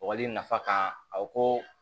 Wagali nafa kan a ko